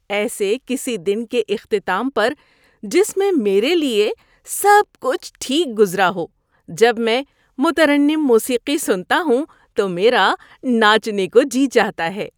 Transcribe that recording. ایسے کسی دن کے اختتام پر جس میں میرے لیے سب کچھ ٹھیک گزرا ہو جب میں مترنم موسیقی سنتا ہوں تو میرا ناچنے کو جی چاہتا ہے۔